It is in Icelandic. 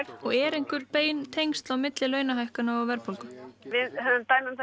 og eru einhver bein tengsl á milli launahækkana og verðbólgu ja við höfum dæmi um